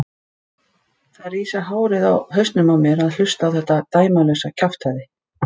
Það rísa hárin á hausnum á mér að hlusta á þetta dæmalausa kjaftæði.